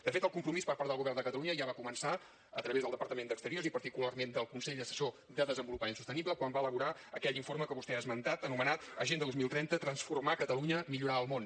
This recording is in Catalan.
de fet el compromís per part del govern de catalunya ja va començar a través del departament d’exteriors i particularment del consell assessor de desenvolupament sostenible quan va elaborar aquell informe que vostè ha esmentat anomenat l’agenda dos mil trenta transformar catalunya millorar el món